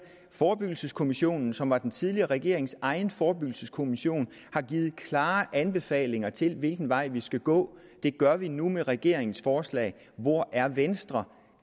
forebyggelseskommissionen som var den tidligere regerings egen forebyggelseskommission har givet klare anbefalinger til hvilken vej vi skal gå det gør vi nu med regeringens forslag hvor er venstre